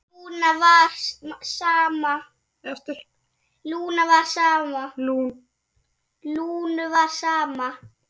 Lúnu var sama.